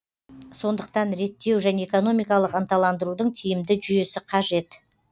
сондықтан реттеу және экономикалық ынталандырудың тиімді жүйесі қажет